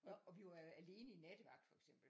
Og vi var alene i nattevagt for eksempel